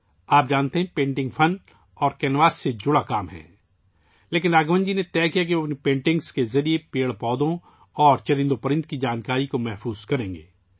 آپ جانتے ہیں کہ پینٹنگ آرٹ اور کینوس سے متعلق ایک کام ہے لیکن راگھون جی نے فیصلہ کیا کہ وہ اپنی پینٹنگز کے ذریعے پیڑ پودوں اور جانوروں کے بارے میں معلومات کو محفوظ کریں گے